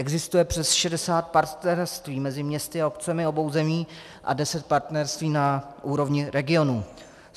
Existuje přes 60 partnerství mezi městy a obcemi obou zemí a deset partnerství na úrovni regionů.